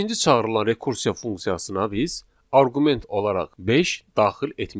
Beşinci çağırılan rekursiya funksiyasına biz arqument olaraq beş daxil etmişik.